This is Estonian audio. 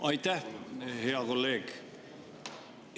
Aitäh, hea kolleeg!